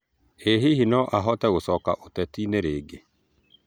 Ĩ hĩhĩ no ahote gũcoka ũteti-nĩ rĩngĩ?